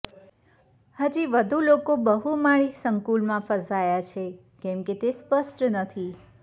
હજી વધુ લોકો બહુમાળી સંકુલમાં ફસાયા છે કે કેમ તે સ્પષ્ટ નથી